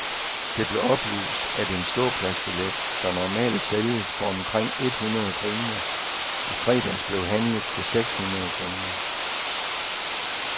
Det blev oplyst, at en ståpladsbillet, der normalt sælges for omkring et hundrede kroner, i fredags blev handlet til seks hundrede kroner.